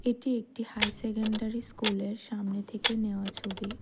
এটি একটি high secondary স্কুলের এর সামনে থেকে নেওয়া ছবি।